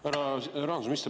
Härra rahandusminister!